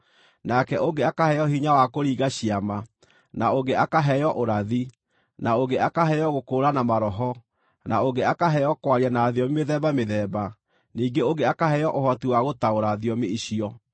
nake ũngĩ akaheo hinya wa kũringa ciama, na ũngĩ akaheo ũrathi, na ũngĩ akaheo gũkũũrana maroho, na ũngĩ akaheo kwaria na thiomi mĩthemba mĩthemba, ningĩ ũngĩ akaheo ũhoti wa gũtaũra thiomi icio.